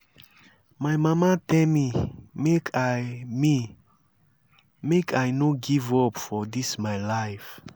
my mama tell me make i me make i no give up for dis my life